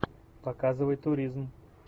показывай туризм